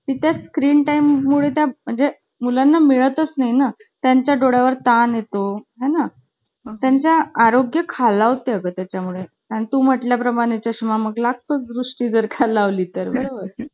मारायचे, असं सांगायचे मी. आणि माझे~ मी बारीक असल्यामुळे माझे हाथ पण लागायचे गं. तर ते लोक~ तर ते लोकं घाबरायचे.